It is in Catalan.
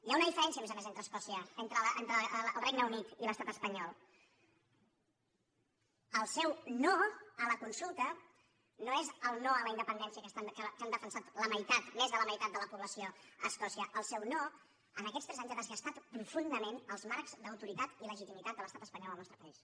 hi ha una diferència a més a més entre el regne unit i l’estat espanyol el seu no a la consulta no és el no a la independència que han defensat més de la meitat de la població a escòcia el seu no en aquests tres anys ha desgastat profundament els marcs d’autoritat i legitimat de l’estat espanyol al nostre país